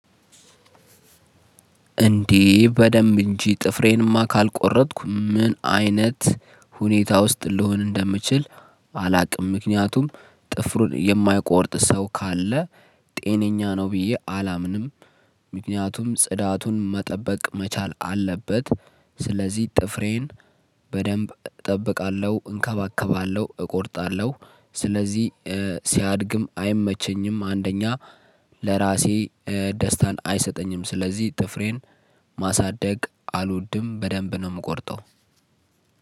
እንዴ በደንብ እንጂ ጥፍሬንማ ካልቆረጥኩ ምን አይነት ሁኔታ ውስጥ ልሆን እንደምችል አላውቅም። ምክንያቱም ጥፍሩን የማይቆርጥ ሰው ካለ ጤነኛ ነው ብዬ አላምንም። ምክንያቱም ጽዳቱን መጠበቅ መቻል አለበት። ስለዚህ ጥፍሬን በደንብ እጠብቃለሁ እንከባከባለሁ እቆርጣለሁ። ስለዚህ ሲያድግም አይመቸኝም። አንደኛ ለራሴ ደስታን አይሰጠኝም ስለዚህ ጥፍሬን ማሳደግ አልወድም በደንብ ነው የምቆርጠው።